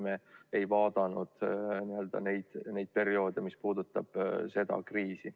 Me ei vaadanud neid perioode, mis puudutavad seda kriisi.